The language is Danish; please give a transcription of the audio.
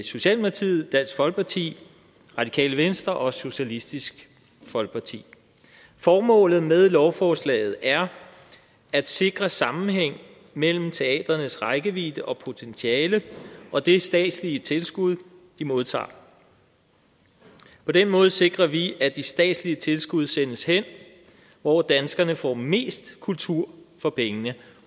socialdemokratiet dansk folkeparti radikale venstre og socialistisk folkeparti formålet med lovforslaget er at sikre sammenhæng mellem teatrenes rækkevidde og potentiale og det statslige tilskud de modtager på den måde sikrer vi at de statslige tilskud sendes hen hvor danskerne får mest kultur for pengene